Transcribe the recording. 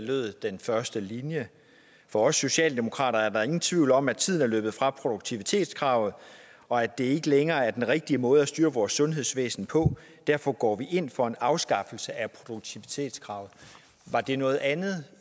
lød den første linje for socialdemokraterne er der ingen tvivl om at tiden er løbet fra produktivitetskravet og at det ikke længere er den rigtige måde at styre vores sundhedsvæsen på derfor går vi ind for en afskaffelse af produktivitetskravet var det noget andet